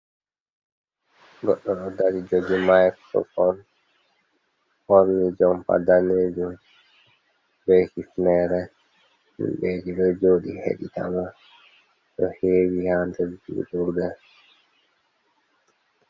Goɗɗo ɗo dari jogi microfon, ɓorni jompa daneje be hifnere, himbeji be joɗi heditamo do hewi ha nder julirde.